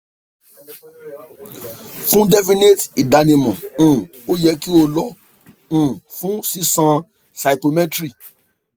fun definite idanimọ um o yẹ ki o lọ um fun sisan cytometry